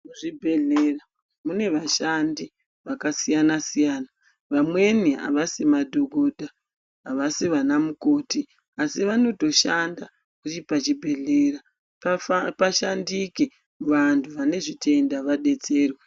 Muzvibhehlera mune vashandi vakasiyana siyana, vamweni avasi madhokodha avasi vanamukoti, asi vanotoshanda pachibhehlera pashandike vantu vanezvitenda vadetserwe.